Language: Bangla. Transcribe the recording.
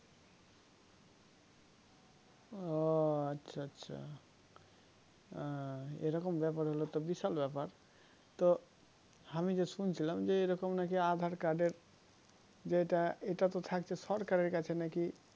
ও আচ্ছা আচ্ছা এরকম ব্যাপার হলে তো বিশাল ব্যাপার তো আমি যে শুনছিলাম যে এরকম নাকি aadhar card এর যেটা এটা তো থাকছে সরকারের কাছে নাকি